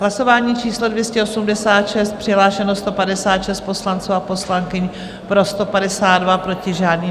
Hlasování číslo 286, přihlášeno 156 poslanců a poslankyň, pro 152, proti žádný.